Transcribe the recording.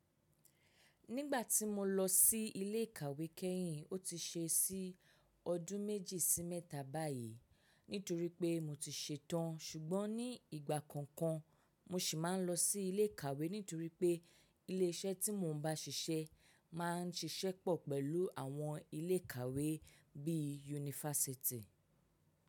Nígbà tí mo lọ sí ilé ìkàwé kẹ́yìn, ó ti ṣe sí ọdún méjì sí mẹ́ta báyìí nítorí pé mo ti ṣetán. Ṣùgbọ́n ní ìgbà kọ̀ọ̀kan mo sì máa ń lọ sí ilé ìkàwé nítorí pé ilé iṣẹ́ tí mo ń bá ṣiṣẹ́ máa ń ṣiṣẹ́ pọ̀ pẹ̀lú àwọn ilé ìkàwé bí i yunifásítì.